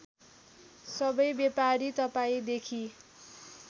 सबै व्यापारी तपाईँदेखि